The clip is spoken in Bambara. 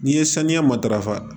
N'i ye saniya matarafa